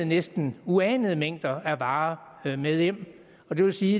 næsten uanede mængder af varer med hjem det vil sige